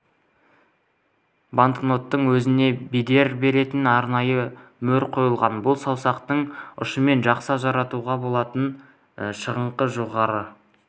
банкноттың өзіне бедер беретін арнайы мөр қойылған бұл саусақтың ұшымен жақсы ажыратуға болатын шығыңқы жоғары